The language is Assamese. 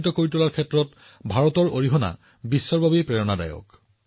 আৰক্ষী সেৱাৰ সৈতে সম্পৰ্কিত আন এটা কথা আছে যিটো মই মন কী বাতৰ শ্ৰোতাসকলক কব বিচাৰো